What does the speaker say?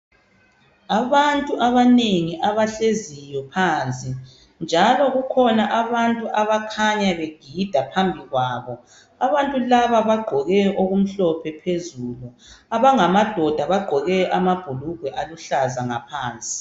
Abantu abanengi abahleziyo phansi, njalo kukhona abantu abakhanya begida phambikwabo. Abantu laba bagqoke okumhlophe phezulu. Abangamadoda bagqoke amabhulugwe aluhlaza ngaphansi.